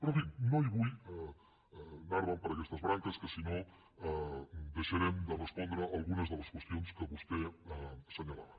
però en fi no vull anar me’n per aquestes branques que si no deixarem de respondre algunes de les qüestions que vostè assenyalava